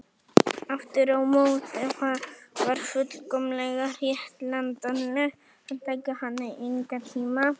Aftur á móti var fullkomlega réttlætanlegt að taka hana í einkatíma ef það voru áhorfendur.